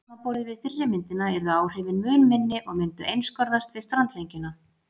Samanborið við fyrri myndina yrðu áhrifin mun minni og myndu einskorðast við strandlengjuna.